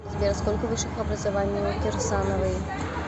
сбер сколько высших образований у кирсановой